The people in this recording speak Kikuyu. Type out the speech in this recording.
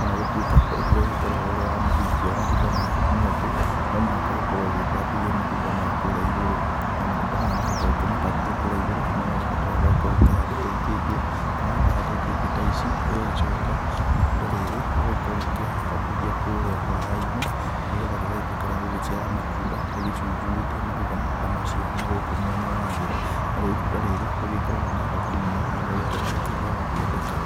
ona gũtuĩka ũndũ ũrĩa ũgĩkoragwo ũrĩ wa mũthingi wa matunda maya nĩ atĩ, no mũhaka ũkorwo ũgĩtambithia matunda maya kũrĩa igũrũ, na matunda maya nĩgetha ũkĩmatambithie kũrĩa igũrũ, nĩ magĩbataraga ũgĩkorwo ũkĩhandĩte ikĩngĩ, na wakĩhanda ikĩngĩ ta ici, ũgagĩcoka itunda rĩrĩ ũgagĩkorwo ũkĩrĩhambithia kũrĩa waya-inĩ nĩgetha rĩgagĩtuĩka rĩa gũgĩciara matunda, rĩgĩcunjurĩtie matunda ta macio nagũkũ mwena wa thĩ. Narĩo itunda ta rĩrĩ nĩ rĩgĩkoragwo na thoko mũno na nĩ rĩgĩkoragwo rĩkĩrĩ rĩa gũkĩendeka.